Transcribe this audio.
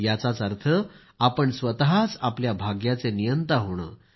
याचाच अर्थ आपण स्वतःच आपल्या भाग्याचे नियंता होणं